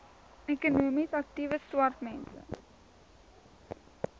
ekonomies aktiewe swartmense